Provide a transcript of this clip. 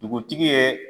Dugutigi ye